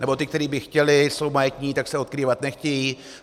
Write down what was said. Nebo ti, kteří by chtěli, jsou majetní, tak se odkrývat nechtějí.